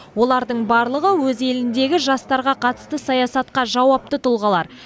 олардың барлығы өз еліндегі жастарға қатысты саясатқа жауапты тұлғалар